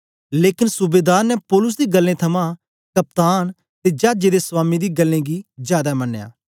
लेकन सूबेदार ने पौलुस दी गल्लें थमां कप्तान ते चाजे दे स्वामी दी गल्लें गी जादै मनया